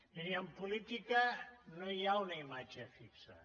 miri en política no hi ha una imatge fixa